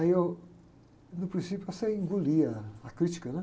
Aí eu, no princípio, eu sei engolir a, a crítica, né?